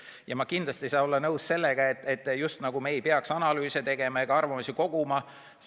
Ja ma kindlasti ei saa olla nõus sellega, et me just nagu ei peaks analüüse tegema ega arvamusi koguma.